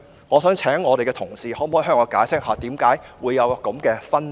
我想請同事向我解釋為何會有這分別。